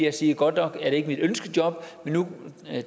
at sige godt nok er det ikke mit ønskejob men nu